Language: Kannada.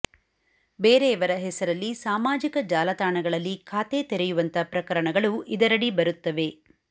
ಬೇರೆಯವರ ಹೆಸರಲ್ಲಿ ಸಾಮಾಜಿಕ ಜಾಲತಾಣಗಳಲ್ಲಿ ಖಾತೆ ತೆರೆಯುವಂಥ ಪ್ರಕರಣಗಳು ಇದರಡಿ ಬರುತ್ತವೆ